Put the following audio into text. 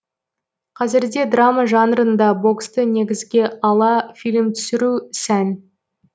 қазірде драма жанрында боксты негізге ала фильм түсіру сән